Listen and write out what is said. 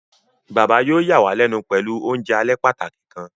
Baba yóò yàwàlénu pẹlu ounjẹ alẹ pàtàki kan.